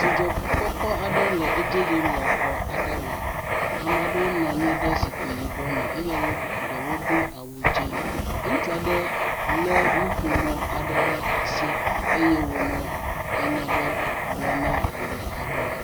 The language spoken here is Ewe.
Dzidzɔkpɔkpɔ le edzi yim le xɔ aɖe me. Ame aɖewo nɔ anyi ɖe zikpi yibɔ me eye wo ɖewo do awu dzẽ. Ŋutsua ɖe lé nuƒomɔ ɖe asi eye wònɔ enya ɖɔwo gblɔm na ameha aɖewo